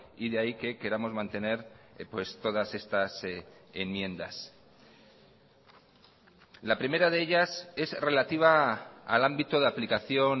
y de ahí que queramos mantener todas estas enmiendas la primera de ellas es relativa al ámbito de aplicación